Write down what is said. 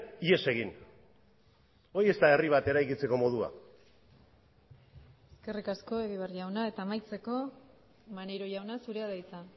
ihes egin hori ez da herri bat eraikitzeko modua eskerrik asko egibar jauna eta amaitzeko maneiro jauna zurea da hitza